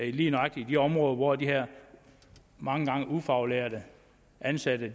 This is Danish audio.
i lige nøjagtig de områder hvor de her mange gange ufaglærte ansatte